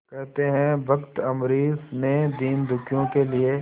कहते हैं भक्त अम्बरीश ने दीनदुखियों के लिए